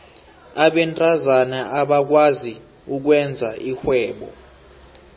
abentazana abakwazi ukwenza irhwebo